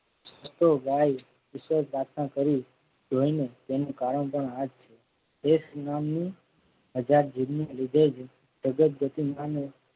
હસતો ગાય વિશેષ દાતણ કરી જોઈ ને તેનું કારણ પણ આ છે. ભેંશ નામની જીભને લીધે જ